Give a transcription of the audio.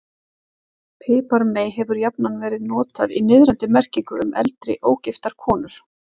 Piparmey hefur jafnan verið notað í niðrandi merkingu um eldri, ógifta konu.